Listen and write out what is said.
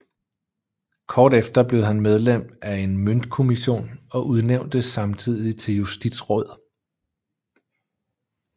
Kort efter blev han medlem af en møntkommission og udnævntes samtidig til justitsråd